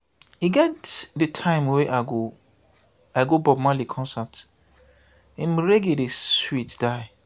e get di time wey i go bob marley concert im reggae dey sweet die.